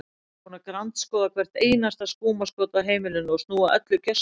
Ég er búin að grandskoða hvert einasta skúmaskot á heimilinu og snúa öllu gjörsamlega við.